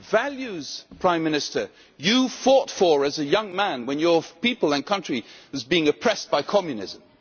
Values, Prime Minister, that you fought for as a young man when your people and country were being oppressed by Communism.